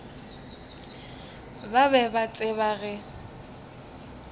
ba be ba tseba ge